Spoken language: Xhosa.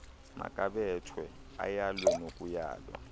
makabethwe ayalwe nokuyalwa